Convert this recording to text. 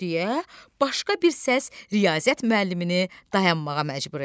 Deyə başqa bir səs Riyaziyyat müəllimini dayanmağa məcbur elədi.